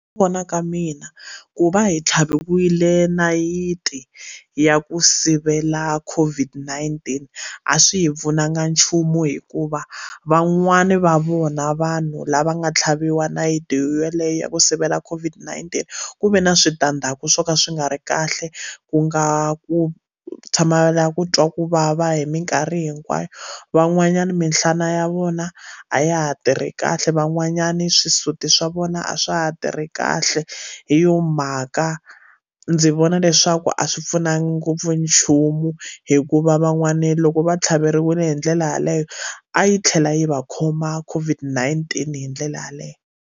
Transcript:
Ku vona ka mina ku va hi tlhaviwile nayiti ya ku sivela COVID-19 a swi hi pfunanga nchumu hikuva van'wani va vona vanhu lava nga tlhaviwa nayiti yeleyo ya ku sivela COVID-19 ku ve na switandzhaku swo ka swi nga ri kahle ku nga ku tshamela ku twa ku vava hi minkarhi hinkwayo van'wanyana minhlana ya vona a ya ha tirhi kahle van'wanyani swisuti swa vona a swa ha tirhi ri kahle hi yo mhaka ndzi vona leswaku a swi pfunanga ngopfu nchumu hikuva van'wana loko va tlhaveriwile hi ndlela yaleyo a yi tlhela yi va khoma COVID-19 hi ndlela yaleyo.